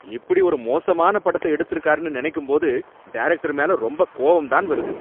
இப்படி ஒரு மோசமான படத்த எடுத்துருக்காருன்னு நினைக்கும்போது டைரக்டர் மேல ரொம்ப கோவந்தான் வருது